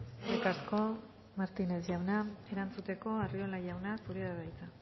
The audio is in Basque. eskerrik asko martínez jauna erantzuteko arriola jauna zurea da hitza